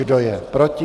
Kdo je proti?